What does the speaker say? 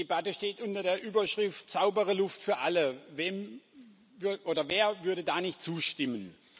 Die Debatte steht unter der Überschrift Saubere Luft für alle wer würde da nicht zustimmen!